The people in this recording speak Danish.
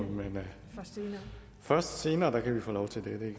vi fortsætter